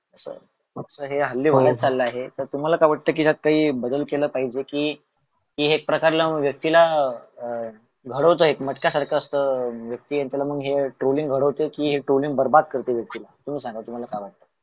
अस हे हल्ली वाढत चाल आहे, तर तुम्हाला काय वाटत कि त्यात बदल केल पाहिजे कि ते हे प्रकारला व्यक्तीला अह घडवत आहेत मटक्या सारख अह असत व्यक्ती त्याला Trolling घडवत कि हे, Trolling बरबाद करत व्यक्ती ला. तुम्ही सांगा व्तुम्हला काय वाट्त?